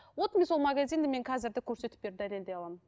вот мен сол магазинді мен қазір де көрсетіп беріп дәлелдей аламын